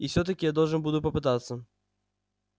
и всё-таки я должен буду попытаться